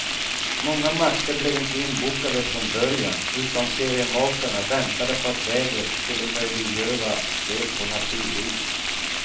Många matcher blev inte inbokade från början, utan seriemakarna väntade på att vädret skulle möjliggöra spel på naturis.